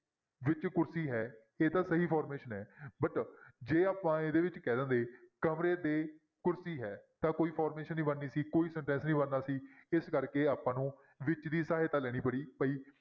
ਵਿੱਚ ਕੁਰਸੀ ਹੈ ਇਹ ਤਾਂ ਸਹੀ formation ਹੈ but ਜੇ ਆਪਾਂ ਇਹਦੇ ਵਿੱਚ ਕਹਿ ਦਿੰਦੇ, ਕਮਰੇ ਦੇ ਕੁਰਸੀ ਹੈ ਤਾਂ ਕੋਈ formation ਨੀ ਬਣਨੀ ਸੀ, ਕੋਈ sentence ਨੀ ਬਣਨਾ ਸੀ, ਇਸ ਕਰਕੇ ਆਪਾਂ ਨੂੰ ਵਿੱਚ ਦੀ ਸਹਾਇਤਾ ਲੈਣੀ ਪੜੀ ਪਈ,